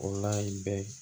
O la i bɛ